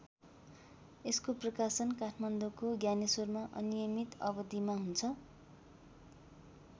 यसको प्रकाशन काठमाडौँको ज्ञानेश्वरमा अनियमित अवधिमा हुन्छ।